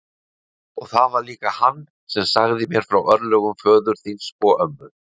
Og það var líka hann sem sagði mér frá örlögum föður þíns og ömmu.